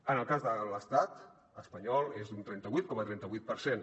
en el cas de l’estat espanyol és d’un trenta vuit coma trenta vuit per cent